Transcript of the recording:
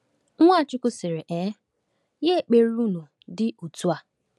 Nwachukwu sịrị: um “Nye ekpere unu, dị otu a:…”